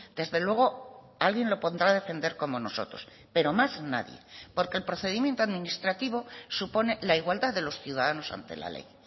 desde luego alguien lo pondrá defender como nosotros pero más nadie porque el procedimiento administrativo supone la igualdad de los ciudadanos ante la ley